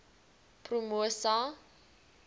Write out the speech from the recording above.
promosa